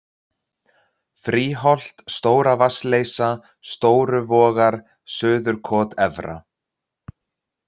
Fríholt, Stóra-Vatnsleysa, Stóru Vogar, Suðurkot Efra